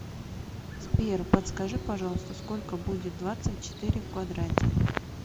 сбер подскажи пожалуйста сколько будет двадцать четыре в квадрате